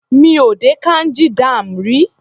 Mi ò dé Kanji dam rí.